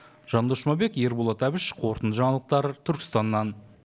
жандос жұмабек ерболат әбіш қорытынды жаңалықтар түркістаннан